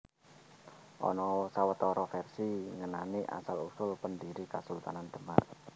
Ana sawetara vèrsi ngenani asal usul pendhiri Kasultanan Demak